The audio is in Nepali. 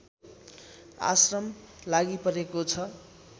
आश्रम लागिपरेको छ